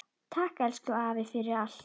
Takk, elsku afi, fyrir allt.